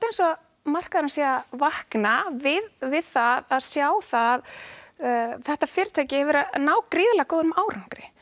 eins og markaðurinn sé að vakna við við það að sjá að þetta fyrirtæki hefur verið að ná gríðarlega góðum árangri